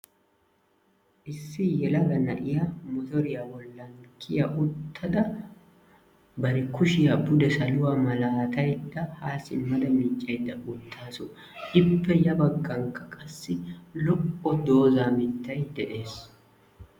Issi yelaga na'iyaa motoriyaa bollan kiya uttada bari kuushiyaa pude saluwaa malaataydda haa simmada miccaydda uuttaasu. Ippe yaa baaggankka qassi lo"o dooza mittay de'ees.